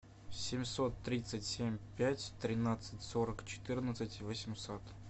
семьсот тридцать семь пять тринадцать сорок четырнадцать восемьсот